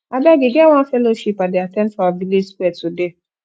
abeg e get one fellowship i dey at ten d for our village square today